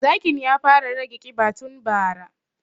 Zakin ya fara rage ƙiba tun bara